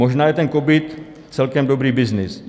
Možná je ten covid celkem dobrý byznys.